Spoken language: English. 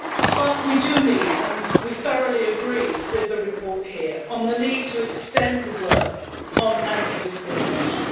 But we do need, and we thoroughly agree with the report here, on the need to extend the work on anti-discrimination.